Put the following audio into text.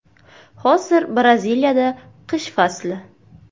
Hozir Braziliyada qish fasli.